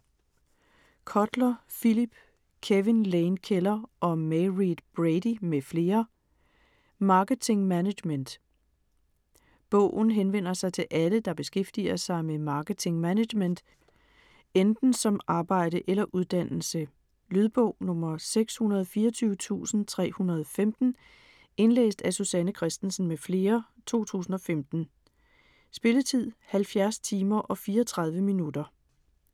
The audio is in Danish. Kotler, Philip, Kevin Lane Keller og Mairead Brady m.fl.: Marketing management Bogen henvender sig til alle, der beskæftiger sig med marketing management; enten som arbejde eller uddannelse. Lydbog 624315 Indlæst af Susanne Kristensen m.fl, 2015. Spilletid: 70 timer, 34 minutter.